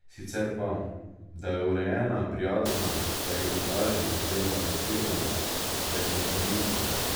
Sicer pa, da je urejena, prijazna, da je izobražena oziroma razgledana, da je kompromisna ...